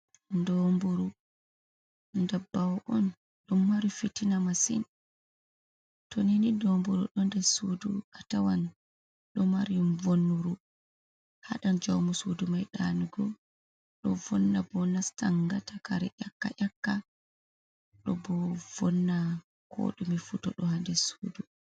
Doburu dabbawa on ɗon mari fitina masin, to nini domburu ɗo nder sudu a tawan ɗo mari vonnuru hadan jaumu sudu mai ɗanugo, ɗo bo vonna nastan gata kare yaka yaka do bo vonna ko dumi fu to ɗo ha nder sudu.